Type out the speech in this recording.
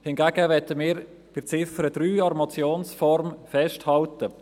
Hingegen möchten wir bei Ziffer 3 an der Motionsform festhalten.